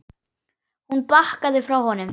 Hún bakkaði frá honum.